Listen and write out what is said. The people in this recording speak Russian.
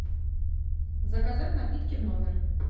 заказать напитки в номер